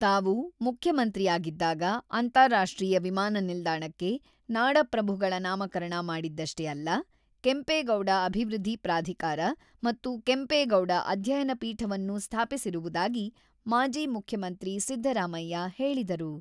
ತಾವು ಮುಖ್ಯಮಂತ್ರಿಯಾಗಿದ್ದಾಗ ಅಂತಾರಾಷ್ಟ್ರೀಯ ವಿಮಾನ ನಿಲ್ದಾಣಕ್ಕೆ ನಾಡಪ್ರಭುಗಳ ನಾಮಕರಣ ಮಾಡಿದಷ್ಟೇ ಅಲ್ಲ ; ಕೆಂಪೇಗೌಡ ಅಭಿವೃದ್ಧಿ ಪ್ರಾಧಿಕಾರ ಮತ್ತು ಕೆಂಪೇಗೌಡ ಅಧ್ಯಯನ ಪೀಠವನ್ನೂ ಸ್ಥಾಪಿಸಿರುವುದಾಗಿ, ಮಾಜಿ ಮುಖ್ಯಮಂತ್ರಿ ಸಿದ್ದರಾಮಯ್ಯ ಹೇಳಿದರು.